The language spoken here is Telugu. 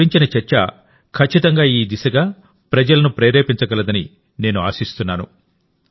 వాటి గురించిన చర్చ ఖచ్చితంగా ఈ దిశగా ప్రజలను ప్రేరేపించగలదని నేను ఆశిస్తున్నాను